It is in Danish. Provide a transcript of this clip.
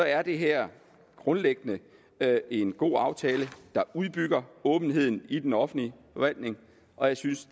er det her grundlæggende en god aftale der udbygger åbenheden i den offentlige forvaltning og jeg synes